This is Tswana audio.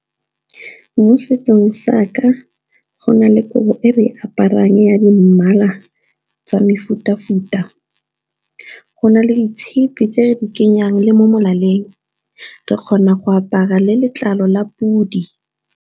Mo setsong sa ka go na le kobo e re aparang ya di mmala tsa mefu-tafuta, go na le ditshipi tse re di kenya mo molaleng re kgona go apara le letlalo la podi.